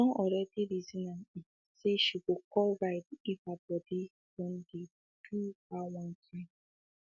she don already reason am um say she go call ride if hey body um don dey do her one kind